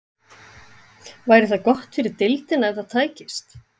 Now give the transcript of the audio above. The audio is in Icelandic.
Væri það gott fyrir deildina ef það tækist?